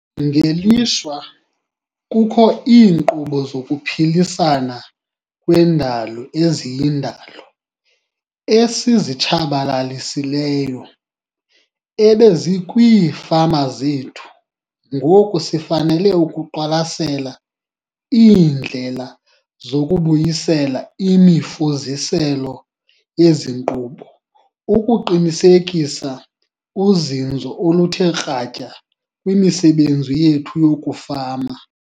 Ngelishwa, kukho iinkqubo zokuphilisana kwendalo eziyindalo esizitshabalalisileyo ebezikwiifama zethu ngoku sifanele ukuqwalasela iindlela zokubuyisela imifuziselo yezi nkqubo ukuqinisekisa uzinzo oluthe kratya kwimisebenzi yethu yokufama.